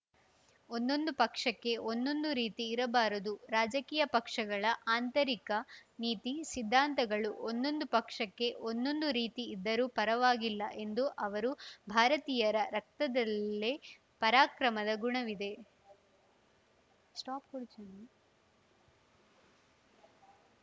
ಒಂದೊಂದು ಪಕ್ಷಕ್ಕೆ ಒಂದೊಂದು ರೀತಿ ಇರಬಾರದು ರಾಜಕೀಯ ಪಕ್ಷಗಳ ಆಂತರಿಕ ನೀತಿ ಸಿದ್ಧಾಂತಗಳು ಒಂದೊಂದು ಪಕ್ಷಕ್ಕೆ ಒಂದೊಂದು ರೀತಿ ಇದ್ದರೂ ಪರವಾಗಿಲ್ಲ ಎಂದು ಅವರು ಭಾರತೀಯರ ರಕ್ತದಲ್ಲೇ ಪರಾಕ್ರಮದ ಗುಣವಿದೆ